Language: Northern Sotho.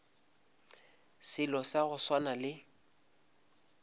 selo sa go swana le